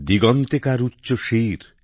দিগন্তে কার উচ্চশির